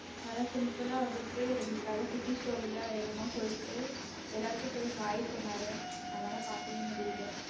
நல்லா simple ஆ வந்துட்டு ரெண்டு கதை குட்டி story லாம் என்னமோ சொல்லிட்டு எல்லாருக்கும் போய் hai சொன்னாரு நம்ம தான் பாக்கவே முடியல.